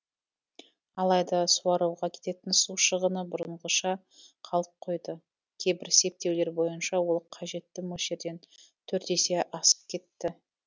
алайда суаруға кететін су шығыны бұрынғыша қалып қойды кейбір септеулер бойынша ол қажетті мөлшерден төрт есе асып кетті